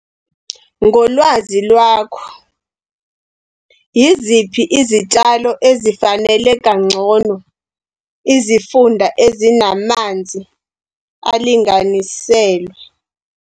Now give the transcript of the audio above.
Ngolwazi lwakho, yiziphi izitshalo ezifanele kangcono izifunda ezinamanzi alinganiselwe?